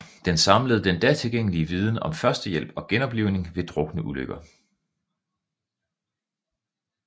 Den samlede den da tilgængelige viden om førstehjælp og genoplivning ved drukneulykker